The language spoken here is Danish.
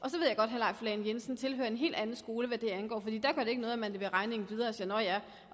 leif lahn jensen tilhører en hel anden skole hvad det angår fordi der gør det ikke noget at man leverer regningen videre og siger nå ja